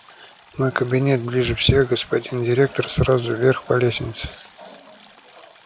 мой кабинет ближе всех господин директор сразу вверх по лестнице